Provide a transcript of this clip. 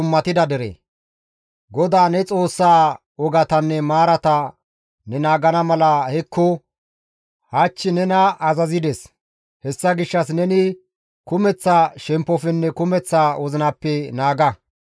GODAA ne Xoossaa wogatanne maarata ne naagana mala hekko hach nena azazides; hessa gishshas neni kumeththa shemppofenne kumeththa wozinappe naaga.